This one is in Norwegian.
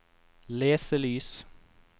leselys